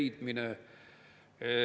Mida see eelnõu veel puudutab?